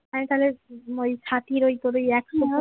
আমি তাহলে সাথির ওই করেই